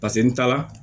Paseke n taala